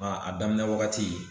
a daminɛ wagati